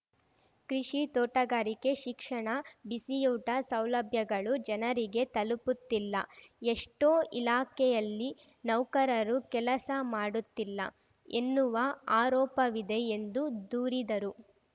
ಕೃಷಿ ತೋಟಗಾರಿಕೆ ಶಿಕ್ಷಣ ಬಿಸಿಯೂಟ ಸೌಲಭ್ಯಗಳು ಜನರಿಗೆ ತಲುಪುತ್ತಿಲ್ಲ ಎಷ್ಟೊಇಲಾಖೆಯಲ್ಲಿ ನೌಕರರು ಕೆಲಸ ಮಾಡುತ್ತಿಲ್ಲ ಎನ್ನುವ ಆರೋಪವಿದೆ ಎಂದು ದೂರಿದರು